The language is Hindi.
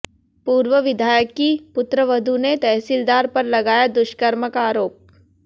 पूर्व विधायक की पुत्रवधू ने तहसीलदार पर लगाया दुष्कर्म का आरोप